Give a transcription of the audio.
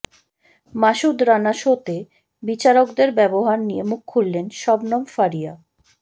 মাসুদ রানা শোতে বিচারকদের ব্যবহার নিয়ে মুখ খুললেন শবনম ফারিয়া